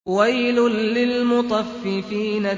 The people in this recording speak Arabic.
وَيْلٌ لِّلْمُطَفِّفِينَ